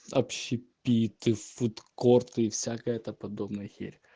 общепиты фудкорты и всякая эта подобная херь